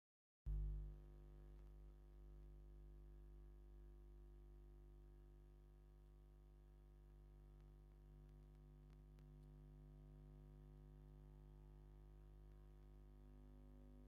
እዚ ማካራኒ እዚ ብጣዕሚ ደስ ዝብል እዩ ።ክንሰርሖ ከለና እውን ኣይትሓሓዝን ። እዚ ድማ ኣብ ማይ ዝዛሃበ ኢና ንሰርሖ ።